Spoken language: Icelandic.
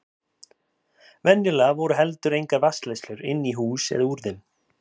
Venjulega voru heldur engar vatnsleiðslur inn í hús eða úr þeim.